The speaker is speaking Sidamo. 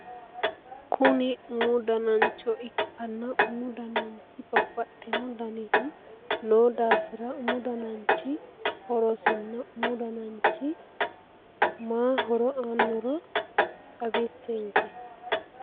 Kuni umu danancho ikanna umu dananchi babbaxxino danihu noo daafira umu dananchi horosinna umu dananchi maa horo aannoro xawissenke